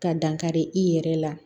Ka dankari i yɛrɛ la